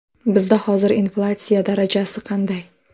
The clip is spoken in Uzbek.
Bizda hozir inflyatsiya darajasi qanday?